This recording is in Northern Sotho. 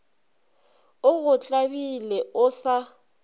o go tlabile o sa